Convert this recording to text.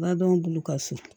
Baw bolo ka so